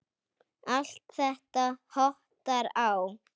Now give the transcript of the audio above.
Allt þetta hottar á.